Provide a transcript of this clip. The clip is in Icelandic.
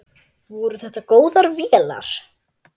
Voru þetta góðar vélar?